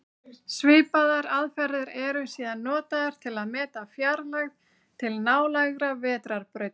Svipaðar aðferðir eru síðan notaðar til að meta fjarlægð til nálægra vetrarbrauta.